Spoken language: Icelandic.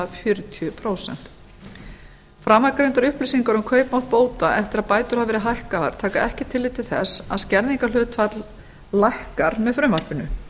fjörutíu prósent framangreindar upplýsingar um kaupmátt bóta eftir að bætur hafa verið hækkaðar taka ekki tillit til þess að skerðingarhlutfall lækkar með frumvarpinu